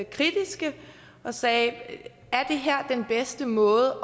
kritiske og sagde er det her den bedste måde